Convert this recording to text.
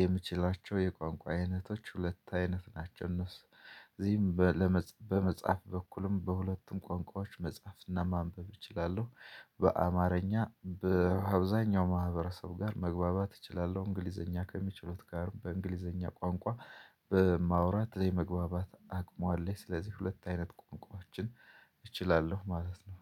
የምችላቸው የቋንቋ አይነቶች ሁለት አይነት ናቸው። እነሱ እዚህም በመጻፍ በኩልም በሁለቱም ቋንቋዎች መፃፍና ማንበብ እችላለሁ። በአማርኛ በአብዛኛው ማህበረሰብ ጋር መግባባት እችላለሁ እንግሊዘኛ ከሚችሉት ጋር በእንግሊዘኛ ቋንቋ በማውራት የመግባባት አቅሙ አለኝ። ስለዚህ ሁለት አይነት ቋንቋዎችን እችላለሁ ማለት ነው